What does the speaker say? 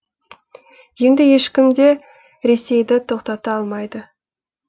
енді ешкім де ресейді тоқтата алмайды